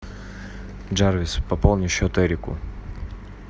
джарвис пополни счет эрику